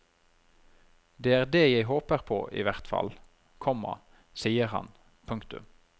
Det er det jeg håper i hvert fall, komma sier han. punktum